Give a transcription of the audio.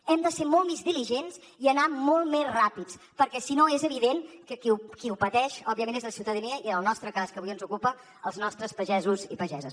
hem de ser molt més diligents i anar molt més ràpids perquè si no és evident que qui ho pateix òbviament és la ciutadania i en el nostre cas que avui ens ocupa els nostres pagesos i pageses